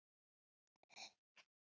Við vorum úti í